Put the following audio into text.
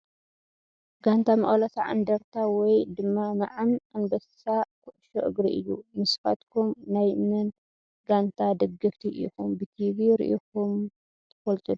ጋንታ መቀለ 70 እንደርታ ወይ ድማ መዓም ኣንበሳ ኮዕሾ እግሪ እዩ ። ንስካትኩም ናይ መን ጋንታ ደገፍቲ ኢኩም ብቲቪ ሪኩም ተፈልጡ ዶ ?